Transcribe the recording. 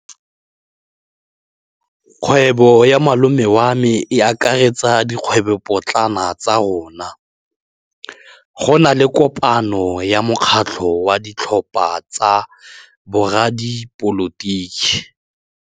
Kgwêbô ya malome wa me e akaretsa dikgwêbôpotlana tsa rona. Go na le kopanô ya mokgatlhô wa ditlhopha tsa boradipolotiki.